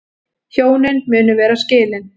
Hjónin munu vera skilin